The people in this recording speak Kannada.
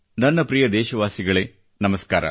ನನ್ನ ಪ್ರಿಯ ದೇಶವಾಸಿಗಳೆ ನಮಸ್ಕಾರ